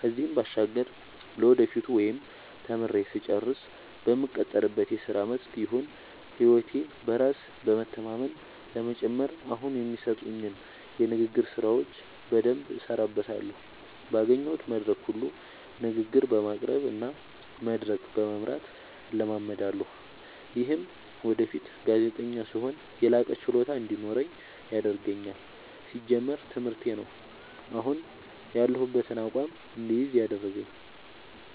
ከዚህም ባሻገር ለወደፊቱ ወይም ተምሬ ስጨርስ በምቀጠርበት የስራ መስክ ይሁን ህይወቴ በራስ በመተማመን ለመጨመር አሁኒ የሚሰጡኝን የንግግር ስራዎች በደምብ እሠራበታለሁ ባገኘሁት መድረክ ሁሉ ንግግር በማቅረብ እና መድረክ በመምራት እለማመዳለሁ። ይምህም ወደፊት ጋዜጠኛ ስሆን የላቀ ችሎታ እንዲኖረኝ ያደርገኛል። ሲጀመር ትምህርቴ ነው። አሁን ያሁበትን አቋም እድይዝ ያደረገኝ።